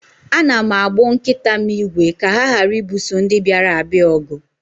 Ana m agbụ nkita m ígwè ka ha ghara ibuso ndị bịara abịa ọgụ